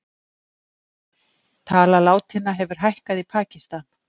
Tala látinna hefur hækkað í Pakistan